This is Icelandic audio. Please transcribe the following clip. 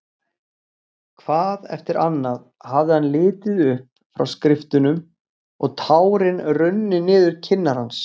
Hvað eftir annað hafði hann litið upp frá skriftunum og tárin runnið niður kinnar hans.